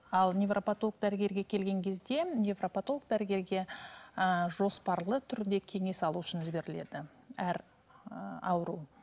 ал невропотолог дәрігерге келген кезде невропотолог дәрігерге ііі жоспарлы түрде кеңес алу үшін жіберіледі әр ііі ауру